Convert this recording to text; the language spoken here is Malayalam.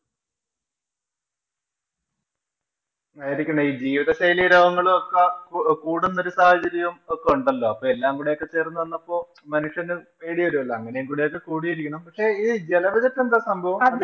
ആയിരിക്കണം. ഈ ജീവിത ശൈലി രോഗങ്ങളൊക്കെ കൂടുന്ന ഒരു സാഹചര്യം ഒക്കെ ഒണ്ടല്ലോ. അപ്പൊ എല്ലാ കൂടെയൊക്കെ ചേര്‍ന്ന് വന്നപ്പോള്‍ മനുഷ്യന് പേടി വരുവല്ലോ. അങ്ങനെയൊക്കെ കൂടിയിരിക്കണം. പക്ഷേ, ഈ ജല Budget എന്താ സംഭവം?